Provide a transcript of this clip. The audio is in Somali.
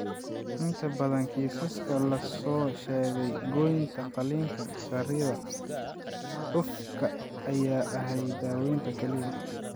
Inta badan kiisaska la soo sheegay, goynta qaliinka (saarida) cufka ayaa ahayd daawaynta kaliya.